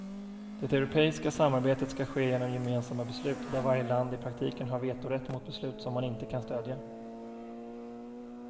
Det europeiska samarbetet skall ske genom gemensamma beslut, där varje land i praktiken har vetorätt mot beslut som man inte kan stödja.